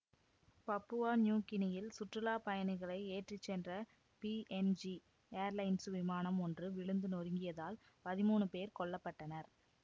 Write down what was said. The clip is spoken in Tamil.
பப்புவா நியூ கினியில் சுற்றுலா பயணிகளை ஏற்றி சென்ற பிஎன்ஜி ஏர்லைன்சு விமானம் ஒன்று விழுந்து நொறுங்கியதில் பதிமூனு பேர் கொல்ல பட்டனர்